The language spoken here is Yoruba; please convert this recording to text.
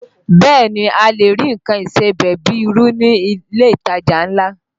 Bẹ́ẹ̀ ni, a lè rí nǹkan ìsebẹ̀ bíi irú ní ilé ìtajà ńlá